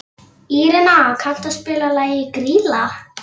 Írena, kanntu að spila lagið „Grýla“?